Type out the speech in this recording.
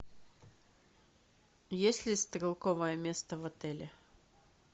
есть ли стрелковое место в отеле